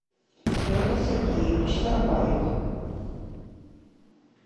петр сергеевич сарваев